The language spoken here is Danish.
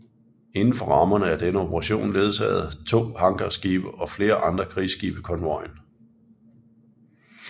Inden for rammerne af denne operation ledsagede to hangarskibe og flere andre krigsskibe konvojen